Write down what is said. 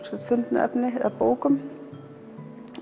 fundnu efni bókum